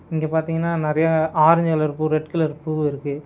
இங்க பார்த்தீங்கன்னா நறைய ஆரஞ்சு கலர் பூ ரெட் கலர் பூ இருக்கு.